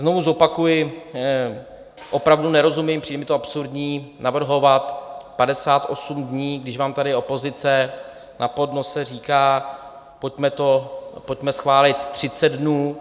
Znovu zopakuji, opravdu nerozumím, přijde mi to absurdní navrhovat 58 dní, když vám tady opozice na podnose říká, pojďme schválit 30 dnů.